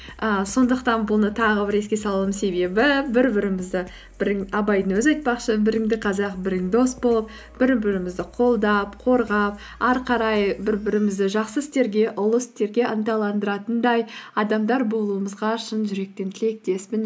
і сондықтан бұны тағы бір еске салуымның себебі бір бірімізді абайдың өзі айтпақшы біріңді қазақ бірің дос болып бір бірімізді қолдап қорғап ары қарай бір бірімізді жақсы істерге ұлы істерге ынталандыратындай адамдар болуымызға шын жүректен тілектеспін